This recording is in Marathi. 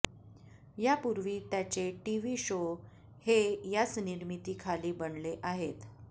यापूर्वी त्याचे टीवी शो हे याच निर्मिती खाली बनले आहेत